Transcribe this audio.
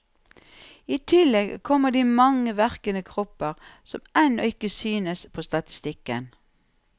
I tillegg kommer de mange verkende kropper som ennå ikke synes på statistikken.